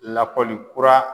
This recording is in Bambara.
Lakɔli kura